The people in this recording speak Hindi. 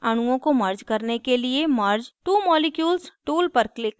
अणुओं को merge करने के लिए merge two molecules tool पर click करें